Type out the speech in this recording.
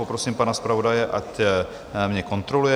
Poprosím pana zpravodaje, ať mě kontroluje.